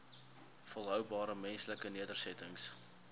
volhoubare menslike nedersettings